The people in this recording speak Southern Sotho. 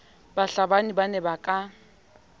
bahlabani ba ne ba ka